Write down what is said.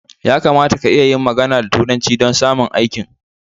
Ya kamata ka iya yin magana da turanci don samun aikin